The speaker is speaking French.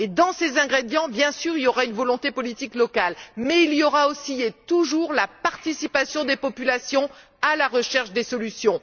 Dans ces ingrédients, bien sûr, il y aura une volonté politique locale, mais il y aura, aussi et toujours, la participation des populations à la recherche des solutions.